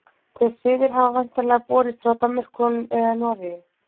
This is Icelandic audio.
Þeir siðir hafa væntanlega borist frá Danmörku eða Noregi.